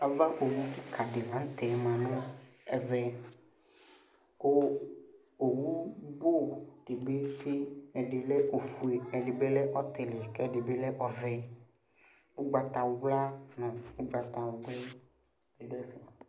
avawu kika dɩ lanʊtɛ ma nʊ ɛmɛ, kʊ owu bʊ dɩnɩ, ɛdɩ lɛ ofue, ɛdɩ lɛ ɔvɛ, ugbatawla